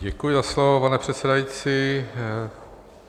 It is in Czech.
Děkuji za slovo, pane předsedající.